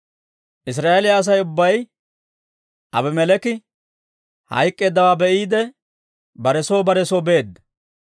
Israa'eeliyaa Asay ubbay Aabimeleeki hayk'k'eeddawaa be'iide, bare soo bare soo beedda.